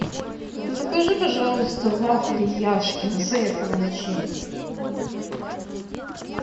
закажи пожалуйста вафли яшкино с ореховой начинкой